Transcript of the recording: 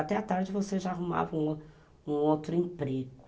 Até a tarde você já arrumava um o um outro emprego.